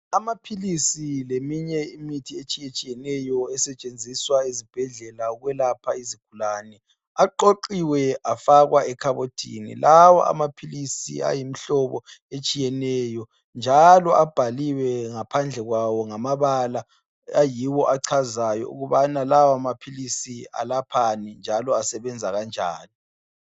Amaphilisi leminye imithi etshiyetshiyeneyo esetshenziswa ezibhedlela ukwelapha izigulane aqoqiwe afakwa ekhabothini. Lawo amaphilisi ayimhlobo etshiyeneyo njalo abhaliwe ngaphandle kwawo ngamabala ayiwo achazayo ukubana lawa maphilisi alaphani njalo asebenza kanjani.